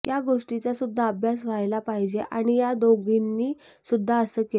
या गोष्टीचा सुद्धा अभ्यास व्हायला पाहिजे आणि या दोघींनी सुद्धा असं केलं